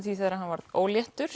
því þegar hann varð óléttur